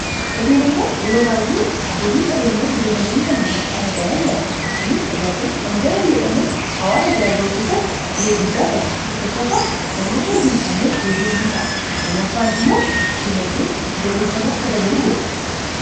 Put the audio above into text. hoteelota yeroo baay'ee abbootiin qabeenyaa hoteelawwan kanneen yeroosaan ijaaraman argina. kunis tajaajila hangana hin jedhamne hawaasa biraa ga'u keessatti ga'ee guddaa qaba tokkoffaa namoota hojii hin qabneef hojii umtaa lamaffaan immoo dinaddee galee sanii akka dabalu godhan